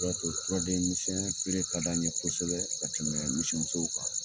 O de y'a to turaden misɛnya feere ka di an ye kosɛbɛ ka tɛmɛ misimusow kan.